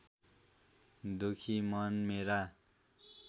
दुखी मन मेरा